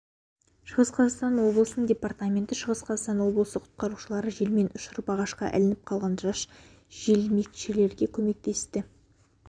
шығыс қазақстан облысының департаменті шығыс қазақстан облысы құтқарушылары желмен ұшырып ағашқа ілініп қалған жас желкермешіге көмектесті